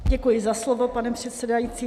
Děkuji za slovo, pane předsedající.